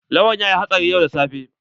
Lawan yayi hatsari yau da safe.